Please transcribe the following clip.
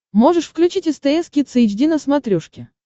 можешь включить стс кидс эйч ди на смотрешке